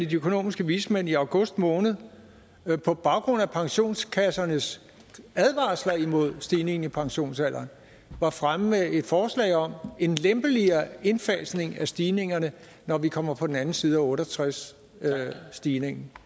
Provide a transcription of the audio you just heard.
de økonomiske vismænd i august måned på baggrund af pensionskassernes advarsler imod stigningen i pensionsalderen var fremme med et forslag om en lempeligere indfasning af stigningerne når vi kommer på den anden side af otte og tres stigningen